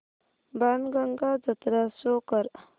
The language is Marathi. बाणगंगा जत्रा शो कर